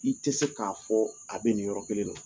Ni tɛ se k'a fɔ a bɛ nin yɔrɔ kelen de la